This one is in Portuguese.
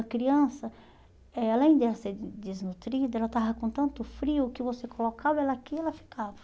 A criança, eh além de ela ser desnutrida, ela estava com tanto frio que você colocava ela aqui e ela ficava.